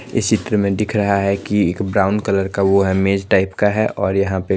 इस चित्र में दिख रहा है कि एक ब्राउन कलर का वो है मेच टाइप का है और यहाँ पे--